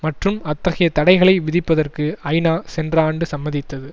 மற்றும் அத்தகைய தடைகளை விதிப்பதற்கு ஐநா சென்ற ஆண்டு சம்மதித்தது